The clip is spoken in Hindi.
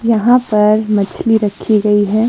यहां पर मछली रखी गई हैं।